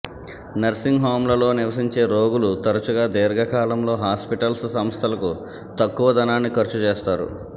nursing హోమ్లలో నివసించే రోగులు తరచుగా దీర్ఘకాలంలో హాస్పిటల్స్ సంస్థలకు తక్కువ ధనాన్ని ఖర్చు చేస్తారు